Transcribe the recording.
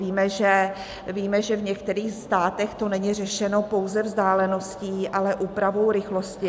Víme, že v některých státech to není řešeno pouze vzdáleností, ale úpravou rychlosti.